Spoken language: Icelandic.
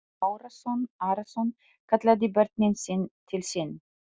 Jón Arason kallaði börnin til sín.